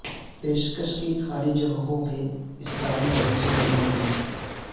پیشکش کی خالی جگہوں کے اسرائیل جائزے میں نوکریاں